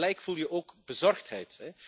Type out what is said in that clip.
Tegelijk voel je ook bezorgdheid.